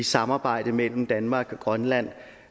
samarbejde mellem danmark og grønland